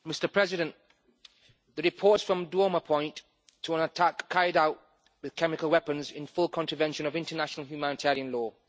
Mr President, the reports from Douma point to an attack carried out with chemical weapons in full contravention of international humanitarian law.